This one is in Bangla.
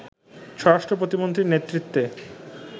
স্বরাষ্ট্র প্রতিমন্ত্রীর নেতৃত্বে